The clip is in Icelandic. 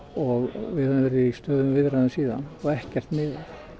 og við höfum verið í stöðugum viðræðum síðan og ekkert miðað